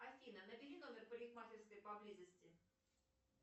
афина набери номер парикмахерской поблизости